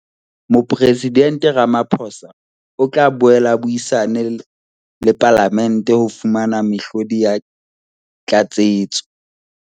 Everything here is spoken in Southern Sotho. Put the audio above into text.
Mopresidente Ramaphosa o tla boela a buisana le Palamente ho fumana mehlodi ya tlatsetso.